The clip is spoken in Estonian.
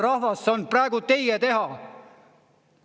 Rahvas, see on praegu teie teha!